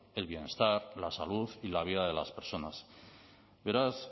el bienestar la salud y la vida de las personas beraz